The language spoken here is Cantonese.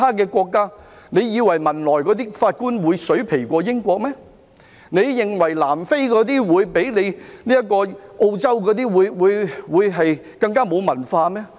難道他們認為汶萊的法官會較英國的法官差，南非的法官會較澳洲的法官更沒有文化嗎？